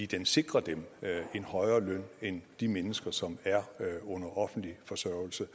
den sikrer dem en højere løn end de mennesker som er under offentlig forsørgelse